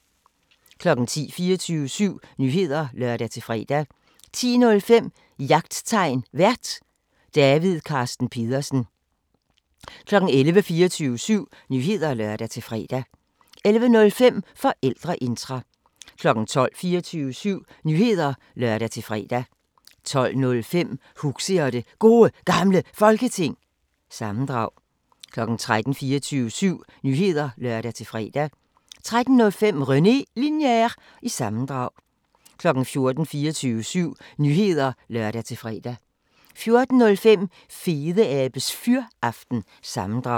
10:00: 24syv Nyheder (lør-fre) 10:05: Jagttegn Vært: David Carsten Pedersen 11:00: 24syv Nyheder (lør-fre) 11:05: Forældreintra 12:00: 24syv Nyheder (lør-fre) 12:05: Huxi og det Gode Gamle Folketing – sammendrag 13:00: 24syv Nyheder (lør-fre) 13:05: René Linjer- sammendrag 14:00: 24syv Nyheder (lør-fre) 14:05: Fedeabes Fyraften – sammendrag